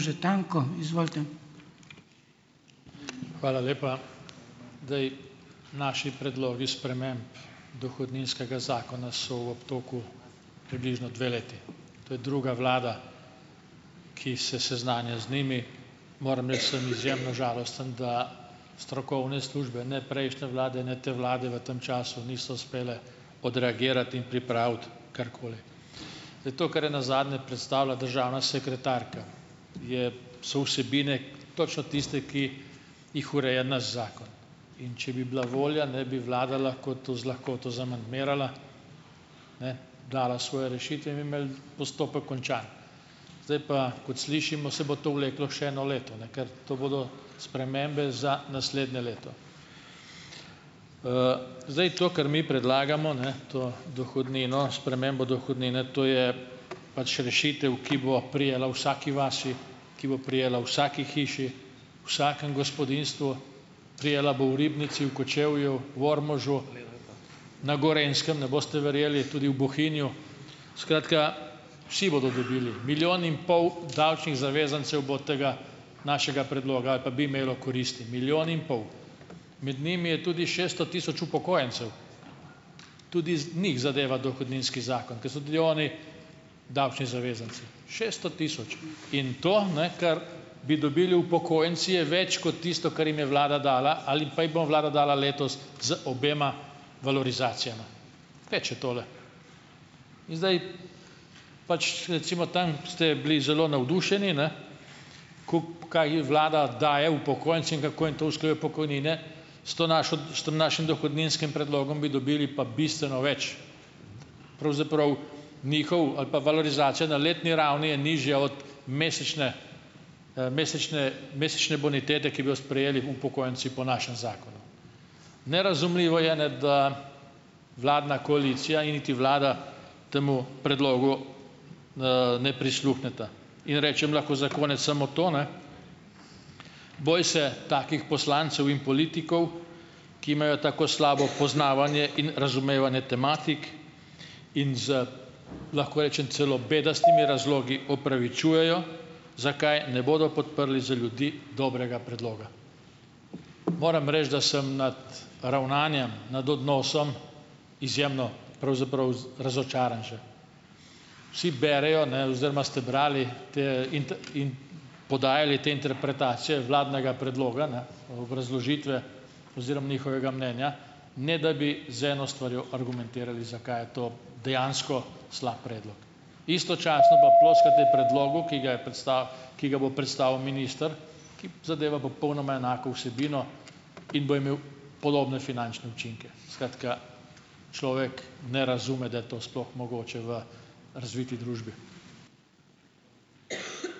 Hvala lepa. Naši predlogi sprememb dohodninskega zakona so v obtoku približno dve leti. To je druga vlada, ki se seznanja z njimi. Moram reči, sem izjemno žalosten, da strokovne službe ne prejšnje vlade ne te vlade v tem času niso uspele odreagirati in pripraviti karkoli. To, kar je nazadnje predstavila državna sekretarka, je so vsebine točno tiste, ki jih ureja naš zakon. In če bi bila volja, ne bi vlada lahko to z lahkoto zamandmirala, dala svoje rešitve in bi imeli postopek končan. Zdaj pa, kot slišimo, se bo to vleklo še eno leto, ne, ker to bodo spremembe za naslednje leto. Zdaj, to, kar mi predlagamo, ne, to dohodnino, spremembo dohodnine, to je pač rešitev, ki bo prejela v vsaki vasi, ki bo prejela v vsaki hiši, vsakem gospodinjstvu, prejela bo v Ribnici, v Kočevju, v Ormožu, na Gorenjskem, ne boste verjeli, tudi v Bohinju, skratka, vsi bodo dobili. Milijon in pol davčnih zavezancev bo od tega našega predloga ali pa bi imelo koristi, milijon in pol. Med njimi je tudi šeststo tisoč upokojencev. Tudi njih zadeva dohodninski zakon, ki so tudi oni davčni zavezanci, šesto tisoč in to ne, kar bi dobili upokojenci, je več kot tisto, kar jim je vlada dala ali pa jim bo vlada dala letos z obema valorizacijama. Teče tole. In zdaj, pač recimo tam ste bili zelo navdušeni, ne, kaj vlada daje upokojencem in kako jim to usklajuje pokojnine, s to našo, s tem našim dohodninskim predlogom bi dobili pa bistveno več. Pravzaprav njihov ali pa valorizacija na letni ravni je nižja od mesečne, mesečne mesečne bonitete, ki bi jo sprejeli upokojenci po našem zakonu. Nerazumljivo je, ne, da vladna koalicija in niti vlada, temu predlogu, ne prisluhneta in rečem lahko za konec samo to, ne, boj se takih poslancev in politikov, ki imajo tako slabo poznavanje in razumevanje tematik in z, lahko rečem, celo bedastimi razlogi opravičujejo, zakaj ne bodo podprli za ljudi dobrega predloga. Moram reči, da sem nad ravnanjem, nad odnosom izjemno, pravzaprav razočaran že. Vsi berejo, ne, oziroma ste brali te in in podajali te interpretacije vladnega predloga, ne, obrazložitve oziroma njihovega mnenja, ne da bi z eno stvarjo argumentirali, zakaj je to dejansko slab predlog. Istočasno pa ploskate predlogu, ki ga je ki ga bo predstavil minister, ki zadeva popolnoma enako vsebino in bo imel podobne finančne učinke. Skratka, človek ne razume, da je to sploh mogoče v razviti družbi.